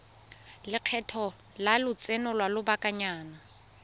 lekgetho la lotseno lwa lobakanyana